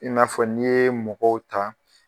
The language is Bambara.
I n'a fɔ n'i ye mɔgɔw ta